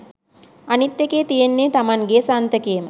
අනිත් එකේ තියෙන්නේ තමන්ගේ සන්තකේම